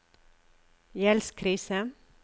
gjeldskrise